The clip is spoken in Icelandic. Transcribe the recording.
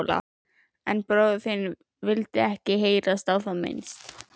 En bróðir þinn vildi ekki heyra á það minnst.